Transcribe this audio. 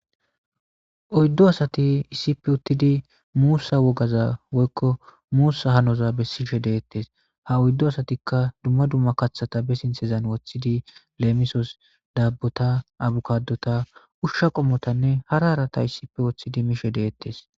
Oyddu asati issipe uttidi muusa wogaza woykko muusa hanoza bessishe de'etes ha oyddu asatikka dumma dumma kaththata be sinththezan woththidi leemisos daabbota, abkaadota, ushsha qommotanne hara harata issipe woththidi mishe de'etes.